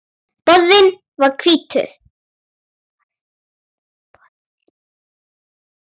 Borðinn var hvítur.